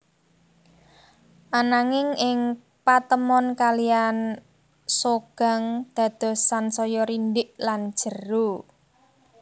Ananging ing patemon kalihan Seogang dados sansaya rindhik lan jero